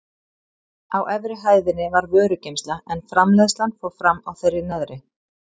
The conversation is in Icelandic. Á efri hæðinni var vörugeymsla en framleiðslan fór fram á þeirri neðri.